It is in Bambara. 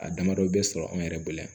A damadɔ bɛ sɔrɔ anw yɛrɛ bolo yan